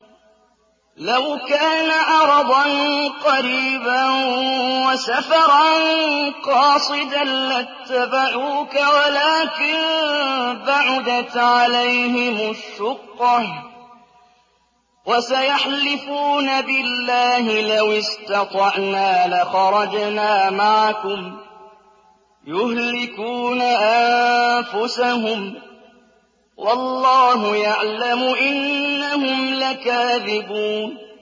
لَوْ كَانَ عَرَضًا قَرِيبًا وَسَفَرًا قَاصِدًا لَّاتَّبَعُوكَ وَلَٰكِن بَعُدَتْ عَلَيْهِمُ الشُّقَّةُ ۚ وَسَيَحْلِفُونَ بِاللَّهِ لَوِ اسْتَطَعْنَا لَخَرَجْنَا مَعَكُمْ يُهْلِكُونَ أَنفُسَهُمْ وَاللَّهُ يَعْلَمُ إِنَّهُمْ لَكَاذِبُونَ